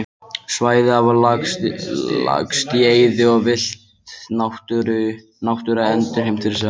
Svæði hafa lagst í eyði og villt náttúra endurheimt fyrri svæði.